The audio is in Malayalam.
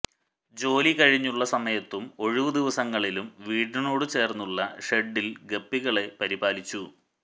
ജോലി കഴിഞ്ഞുള്ള സമയത്തും ഒഴിവു ദിവസങ്ങളിലും വീടിനോടു ചേർന്നുള്ള ഷെഡ്ഡിൽ ഗപ്പികളെ പരിപാലിച്ചു